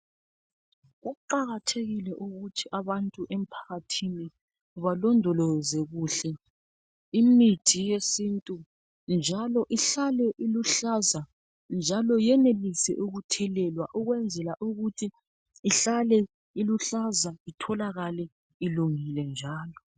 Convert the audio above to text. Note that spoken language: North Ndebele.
Kuqakathekile ukuthi abantu emphakathini balondoloze kuhle imithi yesintu njalo ihlale iluhlaza njalo yenelise ukuthelelwa ukwenzela Ukuthi ihlale iluhlaza itholakale ilungile njalo.